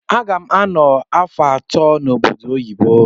Agam ano afọ atọ na obodo oyibo.